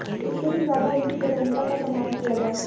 इससे भी ज्यादा उनकी स्वतंत्रता का सम्मान किया जाए